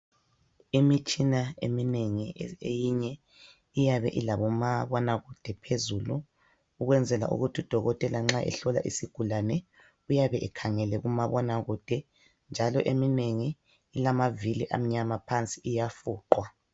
Imitshina eminengi eyinye iyabe ilabomabonakude phezulu .Ukwenzela ukuthi udokothela nxa ehlola isigulane uyabe ekhangele kumabonakude. Njalo eminengi ilamavili amnyama phansi iyafuqwa.